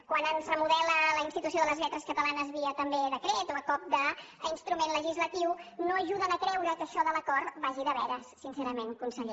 quan ens remodela la institució de les lletres catalanes via també decret o a cop d’instrument legislatiu no ajuden a creure que això de l’acord vagi de veres sincerament conseller